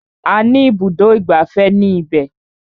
A ní ibùdó ìgbafẹ́ ní ibẹ̀.